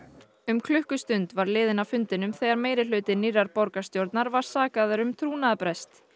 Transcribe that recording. um klukkustund var liðin af fundinum þegar meirihluti nýrrar borgarstjórnar var sakaður um trúnaðarbrest